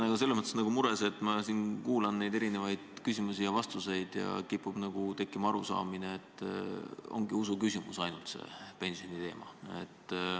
Ma olen selles mõttes natukene mures, et ma kuulan siin neid erinevaid küsimusi ja vastuseid ja kipub tekkima arusaamine, et pensioniteema ongi ainult usuküsimus.